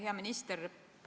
Hea minister!